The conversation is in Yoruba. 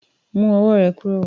Mu ọwọ́ rè kúrò.